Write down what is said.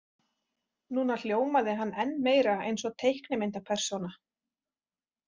Núna hljómaði hann enn meira eins og teiknimyndapersóna.